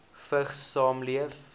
vigs saamleef